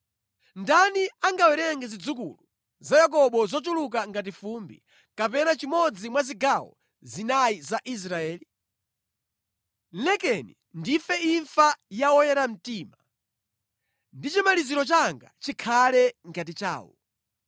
Ndani angawerenge zidzukulu za Yakobo zochuluka ngati fumbi, kapena chimodzi mwa zigawo zinayi za Israeli? Lekeni ndife imfa ya oyera mtima, ndi chimaliziro changa chikhale ngati chawo!”